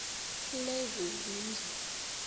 lezezindlu